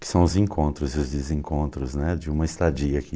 Que são os encontros e os desencontros né, de uma estadia que...